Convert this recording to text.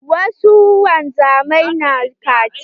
Wasu wanzamai na kaciya.